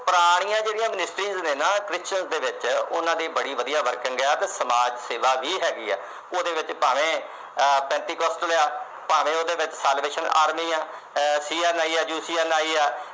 ਪੁਰਾਣੀਆਂ ਜਿਹੜੀਆਂ missionaries ਨੇ Christians ਦੇ ਵਿੱਚ। ਉਹਨਾਂ ਦੀ ਬੜੀ ਵਧੀਆ working ਆ ਤੇ ਸਮਾਜ ਸੇਵਾ ਵੀ ਹੈਗੀ ਆ। ਭਾਵੇਂ ਉਹ ਪੈਂਤੀ question ਆ, ਭਾਵੇਂ ਉਹਦੇ ਵਿੱਚ Salvation Army ਆ, CNI ਆ, UCNI ਆ।